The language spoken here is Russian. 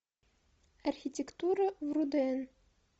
архитектура в рудн